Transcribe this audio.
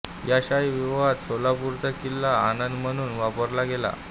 या शाही विवाहात सोलापूरचा किल्ला आंदण म्हणून वापरला गेला